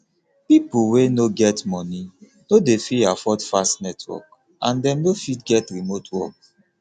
pipo wey no wey no get money no dey fit afford fast network and dem no fit get remote work